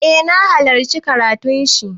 Eh na halarci karatun shi.